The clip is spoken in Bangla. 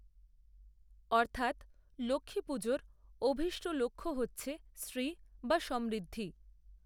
অর্থাত্, লক্ষ্মীপুজোর অভীষ্ট লক্ষ্য হচ্ছে শ্রী, বা সমৃদ্ধি